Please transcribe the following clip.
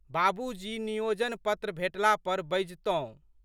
बाबूजी नियोजन पत्र भेटला पर बजितौं।